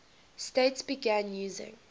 states began using